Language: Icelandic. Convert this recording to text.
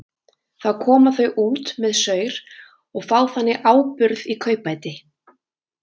Þá koma þau út með saur og fá þannig áburð í kaupbæti.